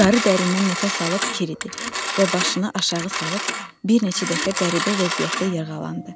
Qarı dərindən nəfəs alıb kirdi və başını aşağı salıb bir neçə dəfə qəribə vəziyyətdə yırğalandı.